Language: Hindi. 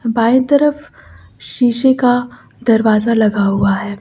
बाएं तरफ शीशे का दरवाजा लगा हुआ है।